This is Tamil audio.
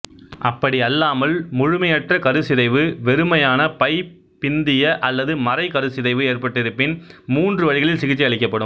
அப்படியல்லாமல் முழுமையற்ற கருச்சிதைவு வெறுமையான பை பிந்திய அல்லது மறை கருச்சிதைவு ஏற்பட்டிருப்பின் மூன்று வழிகளில் சிகிச்சை அளிக்கப்படும்